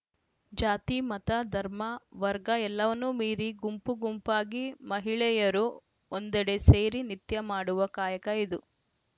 ಜಾತಿ ಮತ ಧರ್ಮ ವರ್ಗ ಎಲ್ಲವನ್ನೂ ಮೀರಿ ಗುಂಪು ಗುಂಪಾಗಿ ಮಹಿಳೆಯರು ಒಂದೆಡೆ ಸೇರಿ ನಿತ್ಯ ಮಾಡುವ ಕಾಯಕ ಇದು